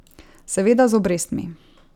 Seveda z obrestmi.